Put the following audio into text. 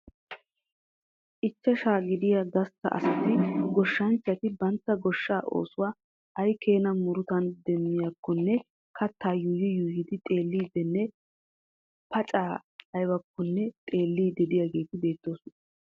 Ichchashaa gidiya gastta asati goshshanchchati bantta goshshaa oosuwan aykeena murutan demmiyakkonne kattaa yuuyyi yuuyyi xeelliiddinne paccay aybakkonne xeelliidi diyageeti beettoosona.